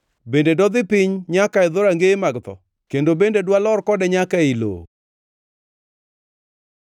Bende dodhi piny nyaka e dhorangeye mag tho? Koso bende dwalor kode nyaka ei lowo?”